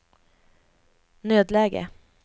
nödläge